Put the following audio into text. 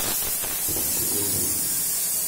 включи белый день